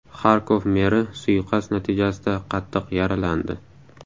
Xarkov meri suiqasd natijasida qattiq yaralandi.